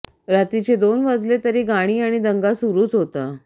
रात्रीचे दोन वाजले तरी गाणी आणि दंगा सुरूच होता